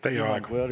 Teie aeg!